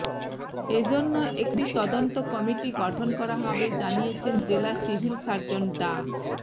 এ জন্য একটি তদন্ত কমিটি গঠন করা হবে জানিয়েছেন জেলা সিভিল সার্জন ডা